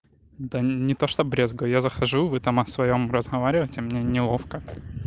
да не то чтобы брезгаю я захожу вы там о своём разговаривайте и мне неловко